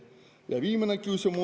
Ja viimane küsimus…